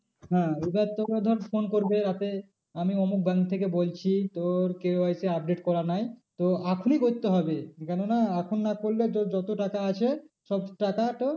হ্যাঁ এবার তোকে ধর phone করবে রাতে আমি উমুক bank থেকে বলছি তোর KYC update করা নাই। তো এখনই করতে হবে কেন না এখন না করলে তোর যত টাকা আছে সব টাকা তোর